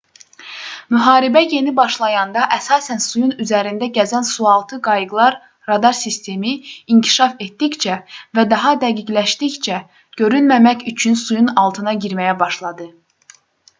müharibə yeni başlayanda əsasən suyun üzərində gəzən sualtı qayıqlar radar sistemi inkişaf etdikcə və daha dəqiqləşdikcə görünməmək üçün suyun altına girməyə başladı